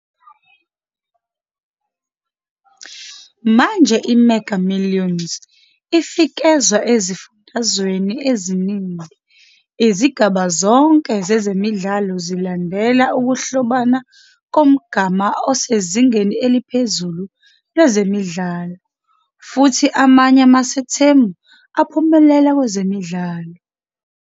Manje i-Mega Millions ifikezwa ezifundazweni eziningi, izigaba zonke zezimidlalo zilandela ukuhlobana komgama osezingeni eliphezulu lwezimidlalo, futhi amanye amasethemu aphumelela kwezimidlalo.